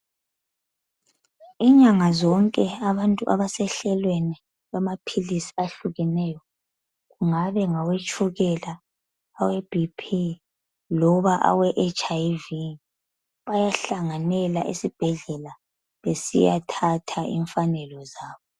Imnyanga zonke abantu abasehlelweni lwama philizi ahlukeneyo ngabe ngawetshukela, awe bhiphi, loba aweHIV bayahlanganela esibhedlela besiyathatha imfanelo zabo.